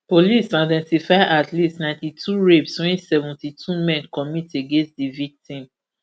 police identify at least ninety-two rapes wey seventy-two men commit against di victim